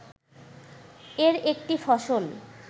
এর একটি ফসল